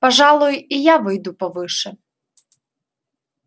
пожалуй и я выйду повыше